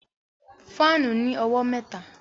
Fáànù ní owó mẹ́ta